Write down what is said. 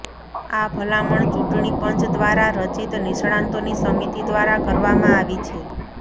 આ ભલામણ ચૂંટણી પંચ દ્વારા રચિત નિષ્ણાતોની સમિતિ દ્વારા કરવામાં આવી છે